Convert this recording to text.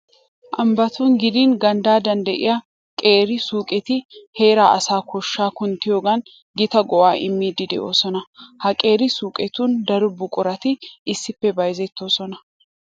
Ambbatun gidin ganddan de'iya qeera suuqetti heeraa asaa koshshaa kunttiyogan gita go"aa immiiddi de'oosona. Ha qeera suuqetun daro buqurati issippe bayzettoosona.